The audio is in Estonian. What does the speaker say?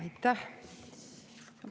Aitäh!